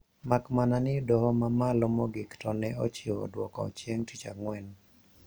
Makmana ni doho ma malo mogik to ne ochiwo dwoko chieng tich Ang`wen